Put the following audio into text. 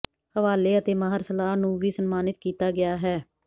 ਹਵਾਲੇ ਅਤੇ ਮਾਹਰ ਸਲਾਹ ਨੂੰ ਵੀ ਸਨਮਾਨਿਤ ਕੀਤਾ ਗਿਆ ਹੈ